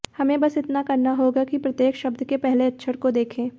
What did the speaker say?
हमें बस इतना करना होगा कि प्रत्येक शब्द के पहले अक्षर को देखें